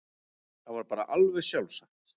Það var bara alveg sjálfsagt.